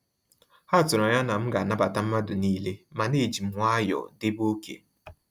Ha tụrụ anya na m ga anabata mmadụ niile, mana ejim nwayọọ debe oké